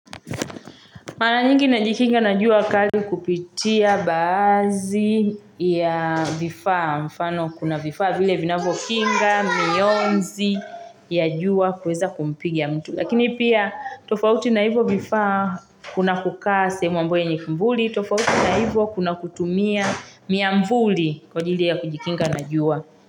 Mara nyingi najikinga na jua kali kupitia baadhi ya vifaa mfano kuna vifaa vile vinavyokinga, mionzi ya jua kuweza kumpigia mtu. Lakini pia tofauti na hivyo vifaa kuna kukaa sehemu ambayo yenye kivuli, tofauti na hivyo kuna kutumia miavuli kwa ajili ya kujikinga na jua.